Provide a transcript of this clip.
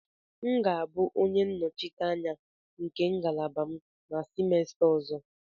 M ga-abụ onye nnọchiteanya nke ngalaba m na semester ọzọ.